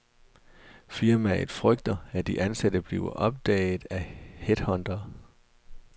Firmaet frygter, at de ansatte bliver opdaget af headhuntere.